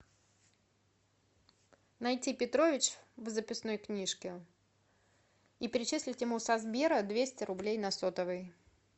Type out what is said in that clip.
найти петрович в записной книжке и перечислить ему со сбера двести рублей на сотовый